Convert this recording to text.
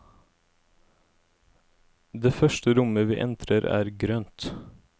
Det første rommet vi entrer er grønt.